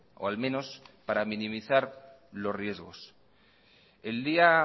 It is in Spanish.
o al menos para minimizar los riesgos el día